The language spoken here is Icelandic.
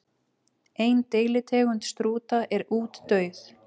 Ein deilitegund strúta er útdauð.